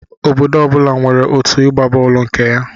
Obodo ọ bụla nwere otụ ịgba bọọlụ nke ya